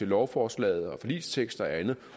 lovforslaget forligsteksten og andet